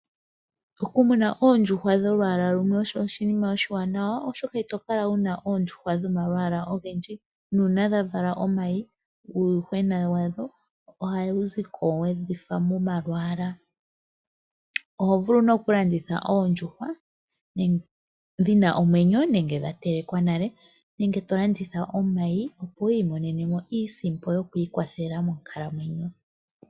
Okumuna oondjuhwa dholwaala lumwe osho oshinima oshiwanawa, oshoka ito kala wuna oondjuhwa dhomalwaala ogendji nuuna dha vala omayi uuyuhwena wadho ohawu ziko wedhifa momalwaala. Oho vulu nee oku landitha oondjuhwa dhina omwenyo nenge dha telekwa nale nenge to landaitha omayi, opo wiimonene mo iisimpo yoku ikwathela.